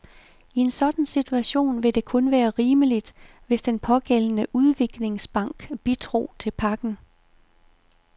I en sådan situation ville det kun være rimeligt, hvis den pågældende udviklingsbank bidrog til pakken.